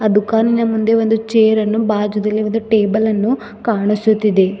ಆ ದುಖಾನಿನ ಮುಂದೆ ಒಂದು ಚೇರ ಅನ್ನು ಬಾಜೂದಲಿ ಒಂದು ಟೇಬಲ್ ಅನ್ನು ಕಾಣಿಸುತ್ತಿದೆ.